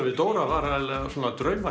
við Dóra var eiginlega svona